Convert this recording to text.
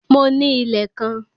Mo ní ilẹ̀ kan